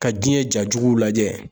Ka diɲɛ jajugu lajɛ.